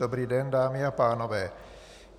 Dobrý den, dámy a pánové.